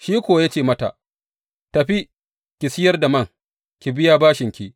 Shi kuwa ya ce mata, Tafi, ki sayar da man, ki biya bashinki.